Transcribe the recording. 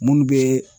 Minnu bɛ